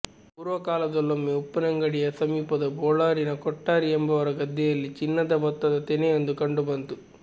ಪೂರ್ವ ಕಾಲದಲ್ಲೊಮ್ಮೆ ಉಪ್ಪಿನಂಗಡಿಯ ಸಮೀಪದ ಬೊಳ್ಳಾರಿನ ಕೊಟ್ಟಾರಿ ಎಂಬವರ ಗದ್ದೆಯಲ್ಲಿ ಚಿನ್ನದ ಭತ್ತದ ತೆನೆಯೊಂದು ಕಂಡು ಬಂತು